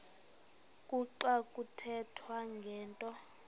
kuxa kuthethwa ngento